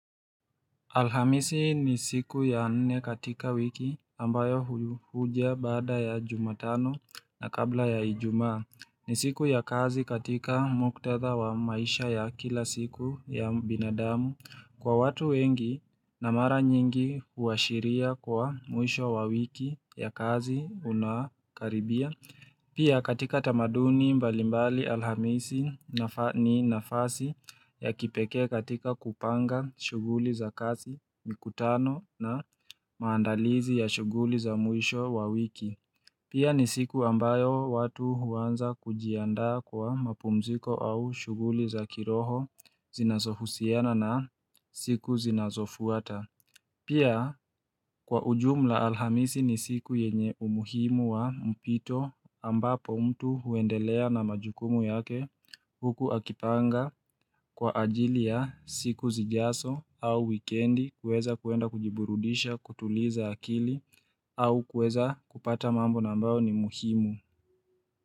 Alhamisi ni siku ya nne katika wiki ambayo huja baada ya jumatano na kabla ya ijuma. Ni siku ya kazi katika muktadha wa maisha ya kila siku ya binadamu. Kwa watu wengi na mara nyingi huashiria kwa mwisho wa wiki ya kazi unakaribia. Pia katika tamaduni mbalimbali alhamisi ni nafasi ya kipekee katika kupanga shuguli za kasi, mikutano na maandalizi ya shuguli za mwisho wa wiki. Pia ni siku ambayo watu huanza kujiandaa kwa mapumziko au shuguli za kiroho zinazohusiana na siku zinazofuata. Pia kwa ujumla alhamisi ni siku yenye umuhimu wa mpito ambapo mtu huendelea na majukumu yake huku akipanga kwa ajili ya siku zijaso au wikendi kuweza kuenda kujiburudisha kutuliza akili au kuweza kupata mambo na ambao ni muhimu.